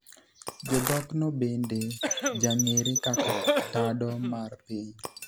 Jodhok no bende jang'eere kaka tado mar piny